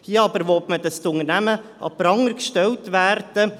Hier aber will man, dass die Unternehmen an den Pranger gestellt werden.